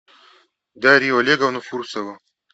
дарью олеговну фурсову